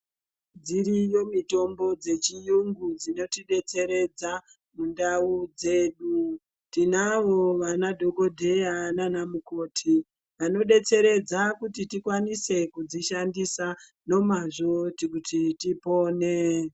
Dziriyo mitombo dzechirungu dzinoti detseredza mundau dzedu tinavo vana dhokodheya nana mukoti anodetseredza kuti tikwanise kudzishandisa nomazvo kuti tipone.